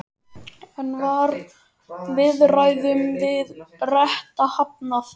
En var viðræðum við Breta hafnað?